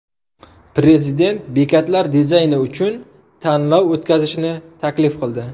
Prezident bekatlar dizayni uchun tanlov o‘tkazishni taklif qildi.